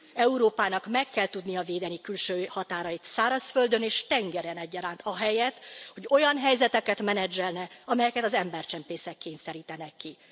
Európának meg kell tudnia védeni külső határait szárazföldön és tengeren egyaránt, ahelyett, hogy olyan helyzeteket menedzselne, amelyeket az embercsempészek kényszerítenek ki.